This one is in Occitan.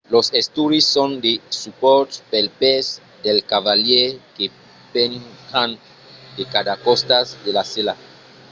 los estrius son de supòrts pels pès del cavalièr que penjan de cada costat de la sèla